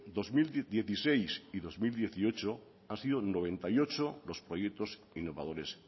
dos mil dieciséis y dos mil dieciocho han sido noventa y ocho los proyectos innovadores